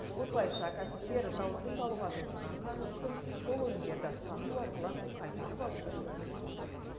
осылайша кәсіпкер зауытты салуға жұмсаған қаржысын сол өнімдерді сату арқылы қайтарып алуды жоспарлап отыр